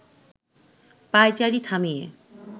পায়চারি থামিয়ে